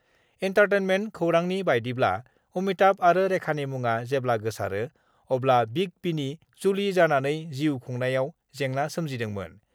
Entertainment खौरांनि बायदिब्ला अमिताभ आरो रेखानि मुङा जेब्ला गोसारो अब्ला बिग बिनि जुलि जानानै जिउ खुंनायाव जेंना सोमजिदोंमोन।